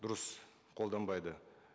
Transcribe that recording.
дұрыс қолданбайды